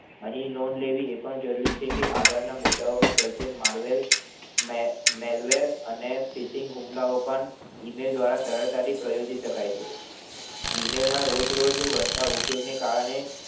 અહી loan એ પણ જરૂરી છે કે આગળ ના મુદ્દા ઓ પર ચર્ચેલ માર્વેલ અને મેર્વેલ હુમલા ઓ પણ cheating હુમલા ઓ પણ email દ્વારા સરળતાથી પ્રયોજી શકાય છે email રોજ રોજ વધતા ઉપયોગ ના કારણે